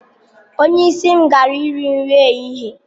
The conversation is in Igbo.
Onye isi m gara iri nri ehihie.